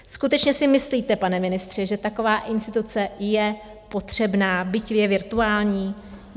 Skutečně si myslíte, pane ministře, že taková instituce je potřebná, byť je virtuální?